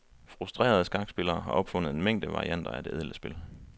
Frustrerede skakspillere har opfundet en mængde varianter af det ædle spil.